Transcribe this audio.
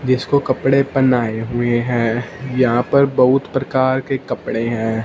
जिसको कपड़े पहनाए हुए हैं यहां पर बहुत प्रकार के कपड़े हैं।